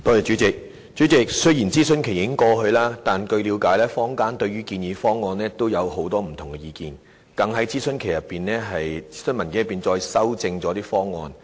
主席，雖然諮詢期已過，但據了解，坊間對建議方案也有很多不同的意見，更在諮詢期內提出建議，修正諮詢文件內的方案。